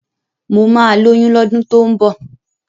Mo máa lóyún lọ́dún tó ń bọ́.